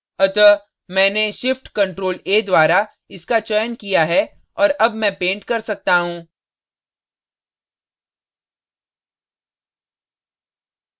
अतः मैंने shift + ctrl + a द्वारा इसका चयन किया है और अब मैं paint कर सकता हूँ